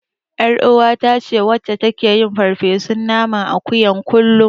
Ƴaruwata ce wadda take yin farfesun naman akuyan kullum.